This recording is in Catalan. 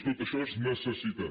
tot això és necessitat